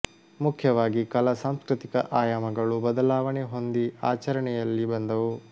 ಮುಖ್ಯವಾಗಿ ಕಲಾ ಸಾಂಸ್ಕೃತಿಕ ಆಯಾಮಗಳು ಬದಲಾವಣೆ ಹೊಂದಿ ಆಚರಣೆಯಲ್ಲಿ ಬಂದವು